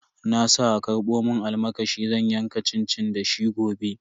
Na sa a karbo mun almakashi zan yanka cincin da shi gobe.